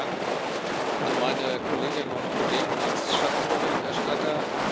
Herzlichen Dank an meine Kolleginnen und Kollegen als Schattenberichterstatter.